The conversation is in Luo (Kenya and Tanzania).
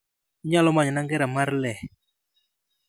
Inyalo manyona ngera mar lee